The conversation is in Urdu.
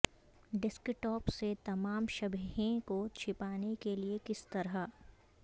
ڈیسک ٹاپ سے تمام شبیہیں کو چھپانے کے لئے کس طرح